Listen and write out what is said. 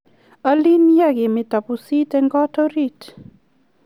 alin yaa kemeto pusit eng kot orit